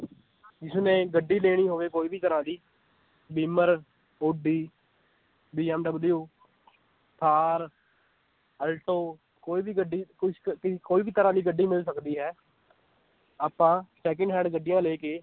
ਜਿਸਨੇ ਗੱਡੀ ਲੈਣੀ ਹੋਵੇ ਕੋਈ ਵੀ ਤਰ੍ਹਾਂ ਦੀ ਬੀਮਰ, ਓਡੀ ਥਾਰ, ਆਲਟੋ ਕੋਈ ਵੀ ਗੱਡੀ ਕੋਈ ਵੀ ਤਰ੍ਹਾਂ ਦੀ ਗੱਡੀ ਮਿਲ ਸਕਦੀ ਹੈ ਆਪਾਂ second-hand ਗੱਡੀਆਂ ਲੈ ਕੇ